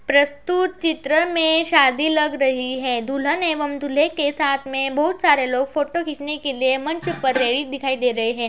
प्रस्तुत चित्र में शादी लग रही है दुल्हन एवं दुल्हे के साथ में बहुत सारे लोग फोटो खींचने के लिए मंच पर रहित दिखाई दे रहे हैं।